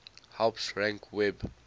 helps rank web